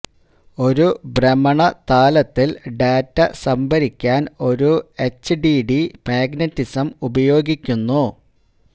ഒരു ഭ്രമണ താലത്തിൽ ഡാറ്റ സംഭരിക്കാൻ ഒരു എച്ച്ഡിഡി മാഗ്നറ്റിസം ഉപയോഗിക്കുന്നു